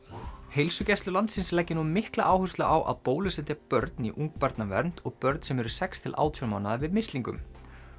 heilsugæslur landsins leggja nú mikla áherslu á að bólusetja börn í ungbarnavernd og börn sem eru sex til átján mánaða við mislingum